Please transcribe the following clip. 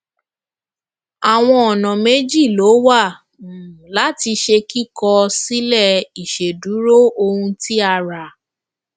àwọn ọnà méjì ló wà um láti ṣe kíkọ sílè ìṣèdúró ohun tí a ra